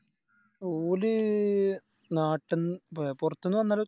ഓല് നാട്ടിന്ന് പോ പോർത്തുന്ന വന്നോല്